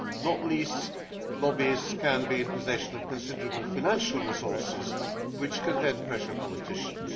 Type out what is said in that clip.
Not least, lobbyists can be in possession of considerable financial resources, which can then pressure politicians.